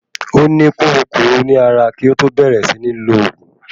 Ó ní kúrukùru ní ara kí ó tó bẹ̀ẹ̀rẹ̀ sí ní lòògùn.